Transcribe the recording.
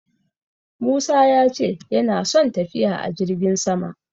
Musa ya ce yana son tafiya a jirgin sama.